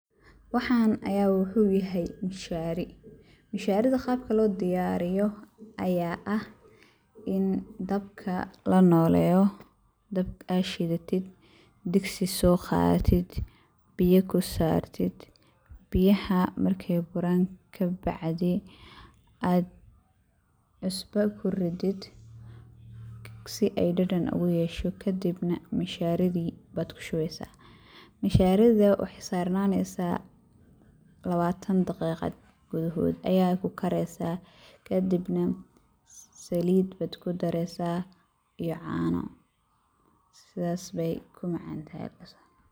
Waxaan ayaa waxuu yahay mushaari. Mushaarida qaabka loo diyaariyo ayaa ah in dabka la nooleyo, dabka aad shidatid, diksi soo qaadatid, biya ku saartid, biyaha marka ay buraan ka bacdi aa cusbo ku ridid si ay dhadhan ugu yeeshoo kadibna mushaaridii baad ku shubaysa. Mushaarida waxay saarananaysaa labaatan daqiiqad gudahood ayaay kukaraysa kadibna saliid baad ku daraysa iyo caano. Sidas bay ku macantahay.